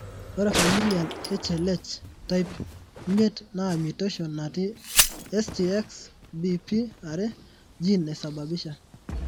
ore familial HLH,type 5 naa mutation natii STXBP2 gene naisababisha .